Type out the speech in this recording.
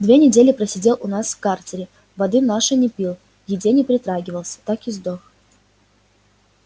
две недели просидел у нас в карцере воды нашей не пил к еде не притрагивался так и сдох